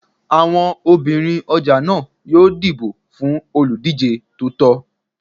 Àwọn obìnrin ọjà náà yóò dìbò fún olùdíjé tó tọ́